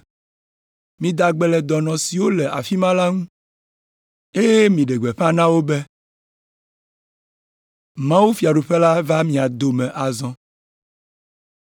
Mida gbe le dɔnɔ siwo le afi ma la ŋu, eye miɖe gbeƒã na wo be, ‘Mawufiaɖuƒe la va ɖo mia dome vɔ azɔ.’